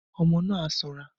Ọmọ náà á sanra